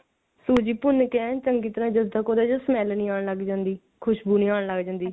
ਹਾਂ ਸੂਜੀ ਭੁੰਨ ਕੇ ਚੰਗੀ ਤਰ੍ਹਾਂ ਜਦ ਤੱਕ ਉਹਦੇ ਚੋ smell ਨਹੀਂ ਆਨ ਲਗ ਜਾਂਦੀ ਖੁਸ਼ਬੂ ਜੀ ਆਉਣ ਲਗ ਜਾਂਦੀ